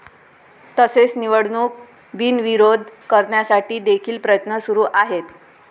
तसेच निवडणूक बिनविरोध करण्यासाठी देखील प्रयत्न सुरु आहेत.